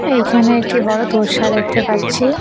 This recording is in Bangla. এইখানে একটি বড় তোর্সা দেখতে পাচ্ছি।